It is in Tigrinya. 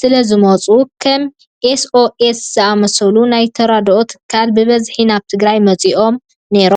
ስለዝመፁ ከም ኤስ ኦ ኤስ ዝኣምሰሉ ናይ ተራድኦ ትካላት ብብዝሒ ናብ ትግራይ መፂኦም ነይሮም።